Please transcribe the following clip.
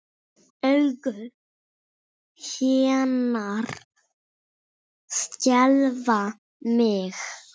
Augu hennar skelfa mig.